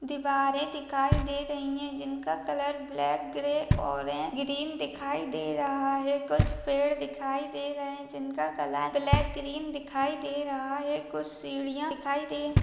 दिवारें दिखाई दे रहीं हैं जिनका कलर ब्लैक ग्रे और ग्रीन दिखाई दे रहा है कुछ पेड़ दिखाई दे रहें हैं जिनका कलर ब्लैक ग्रीन दिखाई दे रहा है कुछ सीढ़िया दिखाई दे --